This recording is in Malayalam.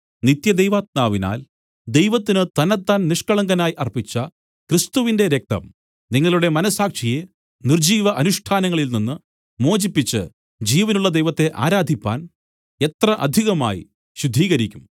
നിത്യദൈവാത്മാവിനാൽ ദൈവത്തിന് തന്നെത്താൻ നിഷ്കളങ്കനായി അർപ്പിച്ച ക്രിസ്തുവിന്റെ രക്തം നിങ്ങളുടെ മനസ്സാക്ഷിയെ നിർജ്ജീവ അനുഷ്ഠാനങ്ങളിൽ നിന്നും മോചിപ്പിച്ച് ജീവനുള്ള ദൈവത്തെ ആരാധിപ്പാൻ എത്ര അധികമായി ശുദ്ധീകരിക്കും